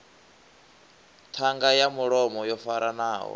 ṱhanga ya mulomo yo faranaho